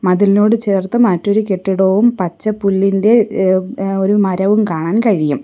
മതിലിനോട് ചേർത്ത് മറ്റൊരു കെട്ടിടവും പച്ച പുല്ലിന്റെ ഏഹ് ഏഹ് ഒരു മരവും കാണാൻ കഴിയും.